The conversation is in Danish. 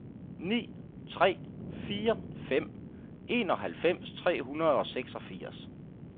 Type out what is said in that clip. ni tre fire fem enoghalvfems tre hundrede og seksogfirs